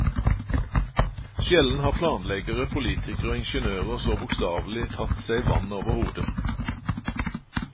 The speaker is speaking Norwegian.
Sjelden har planleggere, politikere og ingeniører så bokstavelig tatt seg vann over hodet.